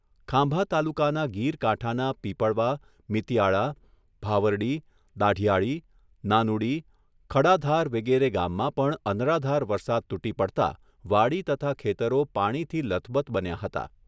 ખાંભા તાલુકાના ગીરકાંઠાના પીપળવા, મીતીયાળા, ભાવરડી, દાઢીયાળી, નાનુડી, ખડાધાર વિગેરે ગામમાં પણ અનરાધાર વરસાદ તુટી પડતા વાડી તથા ખેતરો પાણીથી લથબથ બન્યા હતા.